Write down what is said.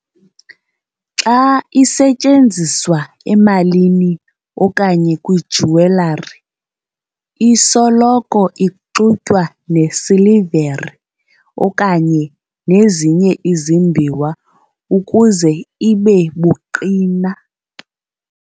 xa isetyenziswa emalini okanye kwijewelry, isoloko ixutywa nesilivere okanye nezinye izimbiwa ukuze ibe buqina.